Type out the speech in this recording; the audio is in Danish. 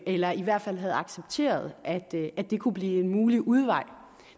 eller i hvert fald havde accepteret at det det kunne blive en mulig udvej